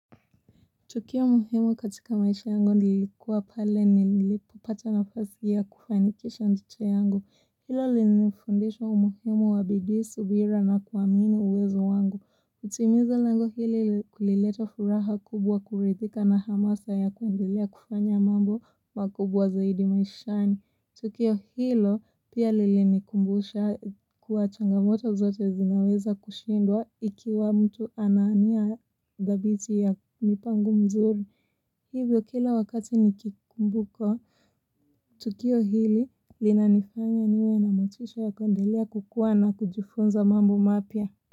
Tukio muhimu katika maisha yangu nilikuwa pale nilipopata nafasi ya kufanikisha nducha yangu. Hilo linifundishwa umuhimu wa bidii subira na kuamini uwezo wangu. Kutimiza lango hili kulileta furaha kubwa kurithika na hamasa ya kuendelea kufanya mambo makubwa zaidi maishani. Tukio hilo pia lili nikumbusha kuwa changamoto zote zinaweza kushindwa ikiwa mtu ana nia dhabiti ya mipango mzuri. Hivyo kila wakati nikikumbuka, tukio hili lina nifanya niwe na motisha ya kuendelea kukuwa na kujifunza mambo mapya.